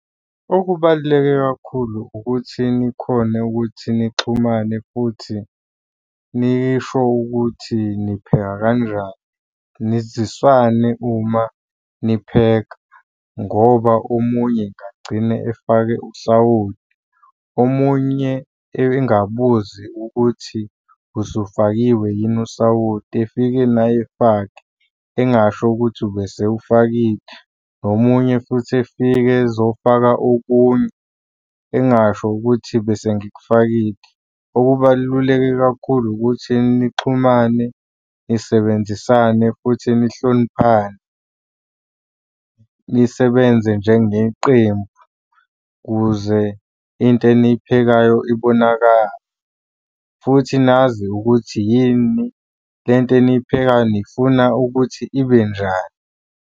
Okubaluleke kakhulu ukuthi nikhone ukuthi nixhumane futhi nisho ukuthi nipheka kanjani. Nizisane uma nipheka ngoba omunye engagcine efake usawoti. Omunye engabuzi ukuthi ubusufakiwe yini usawoti, efike naye efake engasho ukuthi ubesewufakile. Nomunye futhi efike ezofaka okunye engasho ukuthi bese ngikufakile. Okubaluleke kakhulu ukuthi nixhumane, nisebenzisane, futhi nihloniphane. Nisebenze njengeqembu kuze into eniyiphekayo ibonakale, futhi nazi ukuthi yini, le nto eniphekayo nifuna ukuthi ibe njani.